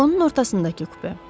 Vağonun ortasındakı kupe.